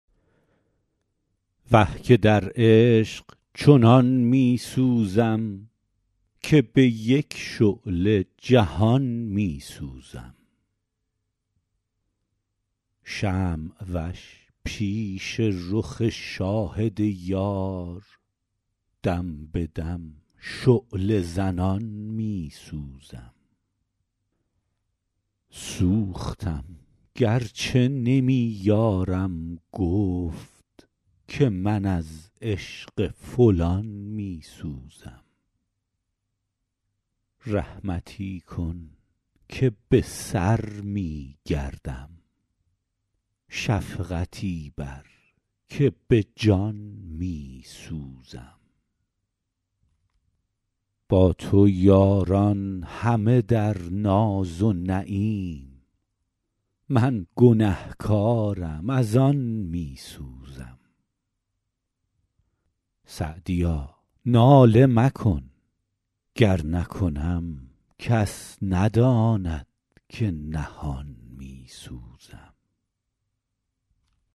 وه که در عشق چنان می سوزم که به یک شعله جهان می سوزم شمع وش پیش رخ شاهد یار دم به دم شعله زنان می سوزم سوختم گر چه نمی یارم گفت که من از عشق فلان می سوزم رحمتی کن که به سر می گردم شفقتی بر که به جان می سوزم با تو یاران همه در ناز و نعیم من گنه کارم از آن می سوزم سعدیا ناله مکن گر نکنم کس نداند که نهان می سوزم